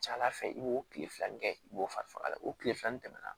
Ca ala fɛ i b'o tile fila in kɛ i b'o fari faga o tile fila nin tɛmɛna